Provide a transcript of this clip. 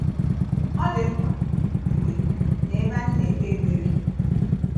Ọ dị mkpa mgbe na ebe anyị na-ekpe ekpere?